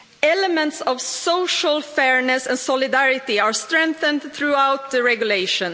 Elements of social fairness and solidarity have been strengthened throughout the regulation.